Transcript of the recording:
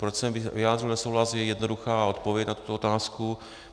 Proč jsem vyjádřil nesouhlas, je jednoduchá odpověď na tuto otázku.